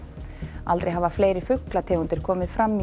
aldrei hafa fleiri fuglategundir komið fram í